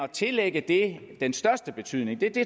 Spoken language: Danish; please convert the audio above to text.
tillægge det den største betydning